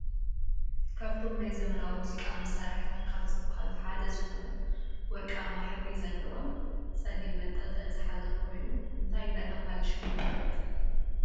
ካብቶም ናይ ዘመናዊ ሙዚቃ መሳርሕታት ካብ ዝብሃሉ ሓደ ዝኮነ ወርቃማ ሕብሪ ዘለዎን ፀሊም መንጠልጠሊ ዝሓዘ ኮይኑ እንታይ እንዳተባህለ ሽሙ ይፍለጥ?